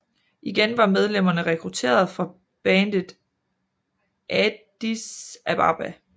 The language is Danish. Igen var medlemmerne rekrutteret fra bandet Addis Ababa